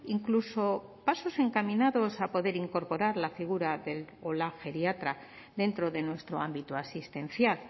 incluso pasos encaminados a poder incorporar la figura del o la geriatra dentro de nuestro ámbito asistencial